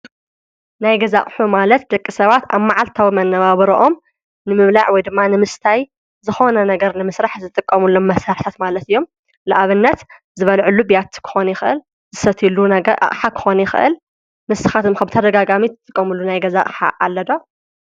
ናይ ገዛ ሑ ማለት ደቂ ሰባት ኣብ መዓልታውመነባበሮኦም ንምብላዕ ወይ ድማ ንምስታይ ዝኾነ ነገር ንምሥራሕ ዘጥቆሙሎም መሠህሕተት ማለት እዮም ለኣብነት ዝበልዕሉ ቤያትክኾንይ ኽእል ዝሰትሉ ነገር ሓክኾነኽእል ምስኻትም ኽብቲ ደጋጋሚት ትትቆምሉ ናይ ገዛእ ሓ ኣለዶ?